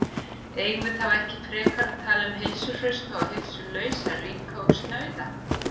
Eigum við þá ekki frekar að tala um heilsuhrausta og heilsulausa, ríka og snauða?